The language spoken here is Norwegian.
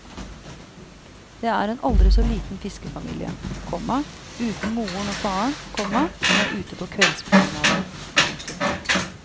Det er en aldri så liten fiskefamilie, komma uten moren og faren, komma som er ute på kveldspromenade. punktum